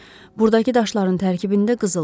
Buradakı daşların tərkibində qızıl var.